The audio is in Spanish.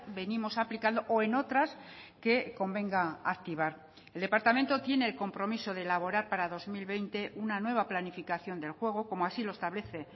venimos aplicando o en otras que convenga activar el departamento tiene el compromiso de elaborar para dos mil veinte una nueva planificación del juego como así lo establece